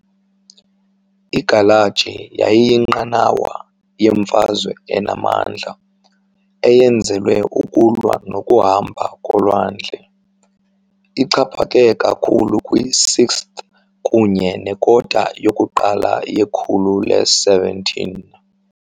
Igalaji yayiyinqanawa yemfazwe enamandla, eyenzelwe ukulwa nokuhamba kolwandle, ixhaphake kakhulu kwi-6th kunye nekota yokuqala yekhulu le-17.